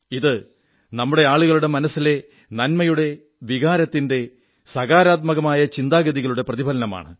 ഇത് നമ്മുടെ ആളുകളുടെ മനസ്സിലെ നന്മയുടെ വികാരത്തിന്റെ സകാരാത്മകമായ ചിന്താഗതികളുടെ പ്രതിഫലനമാണ്